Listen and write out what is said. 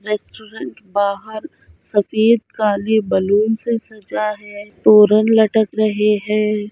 Restaurant बाहर सफेद काले बलून से सजा है तोरण लटक रहे है।